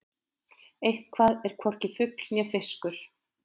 Eitthvað er hvorki fugl né fiskur